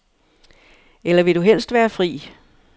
Eller vil du helst være fri?